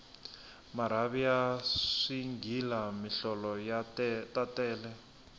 marhavi ya swighila mihlolo ta tele